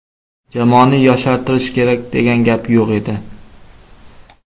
Jamoani yoshartirish kerak degan gap yo‘q edi.